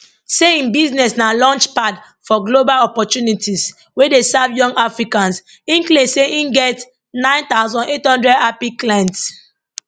say im business na launchpad for global opportunities wey dey serve young africans im claim say im get 9800 happy clients